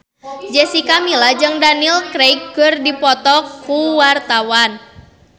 Jessica Milla jeung Daniel Craig keur dipoto ku wartawan